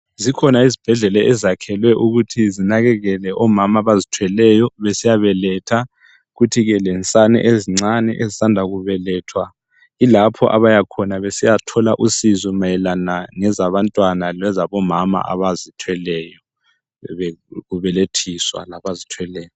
Zikhona izibhedlela eziyakhelwe ukuthi zinakekele omama abazithweleyo besiyabeletha kuthi ke lensane ezincane ezisanda kubelethwa yilapho abayakhona besiyathola usizo mayelana ngezabantwana labomama abazithweleyo sebebelethiswa.